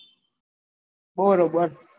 બરોબેર